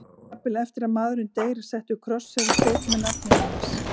Jafnvel eftir að maðurinn deyr er settur kross eða steinn með nafninu hans.